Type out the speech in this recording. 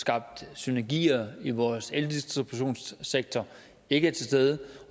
skabt synenergier i vores eldistributionssektor ikke er til stede